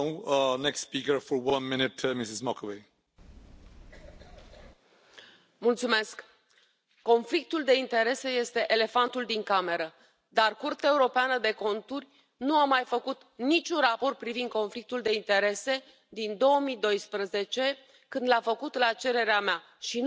Domnule președinte, conflictul de interese este elefantul din cameră, dar Curtea Europeană de Conturi nu a mai făcut niciun raport privind conflictul de interese din 2012, când l a făcut la cererea mea și nu l a făcut public.